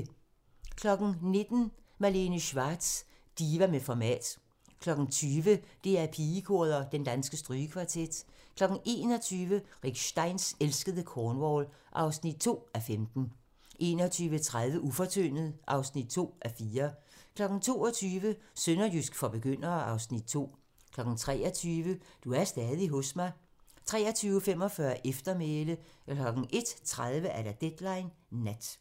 19:00: Malene Schwartz - diva med format 20:00: DR Pigekoret & Den Danske Strygekvartet 21:00: Rick Steins elskede Cornwall (2:15) 21:30: Ufortyndet (2:4) 22:00: Sønderjysk for begyndere (Afs. 2) 23:00: Du er stadig hos mig 23:45: Eftermæle 01:30: Deadline Nat